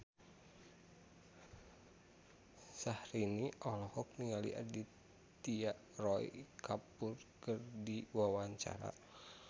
Syahrini olohok ningali Aditya Roy Kapoor keur diwawancara